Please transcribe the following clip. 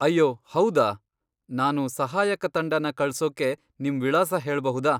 ಅಯ್ಯೋ ಹೌದಾ, ನಾನು ಸಹಾಯಕ ತಂಡನ ಕಳ್ಸೋಕೆ ನಿಮ್ ವಿಳಾಸ ಹೇಳ್ಬಹುದಾ?